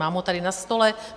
Mám ho tady na stole.